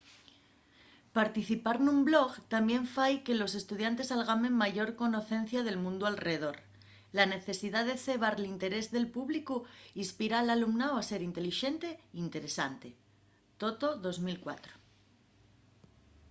participar nun blog tamién fai que los estudiantes algamen mayor conocencia del mundiu alredor”. la necesidá de cebar l’interés del públicu inspira al alumnáu a ser intelixente y interesante toto 2004